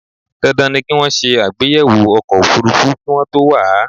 Dandan ni kí wọ́n ṣe àbẹ̀yẹwọ̀ ọkọ̀ òfúrúfú kí wọ́n to wà á